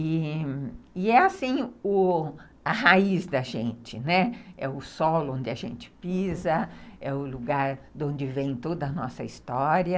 E é assim, o, a raiz da gente, né, é o solo onde a gente pisa, é o lugar de onde vem toda a nossa história.